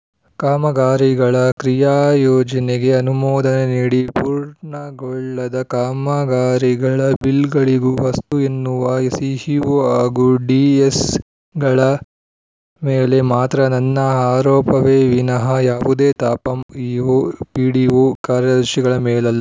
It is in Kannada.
ಕಾಮಗಾರಿಗಳ ಕ್ರಿಯಾಯೋಜನೆಗೆ ಅನುಮೋದನೆ ನೀಡಿ ಪೂರ್ಣಗೊಳ್ಳದ ಕಾಮಗಾರಿಗಳ ಬಿಲ್‌ಗಳಿಗೂ ಅಸ್ತು ಎನ್ನುವ ಸಿಇಒ ಹಾಗೂ ಡಿಎಸ್‌ಗಳ ಮೇಲೆ ಮಾತ್ರ ನನ್ನ ಆರೋಪವೇ ವಿನಹ ಯಾವುದೇ ತಾಪಂ ಇಒ ಪಿಡಿಒ ಕಾರ್ಯದರ್ಶಿಗಳ ಮೇಲಲ್ಲ